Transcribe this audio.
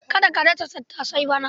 Ka dasa tattasai bana?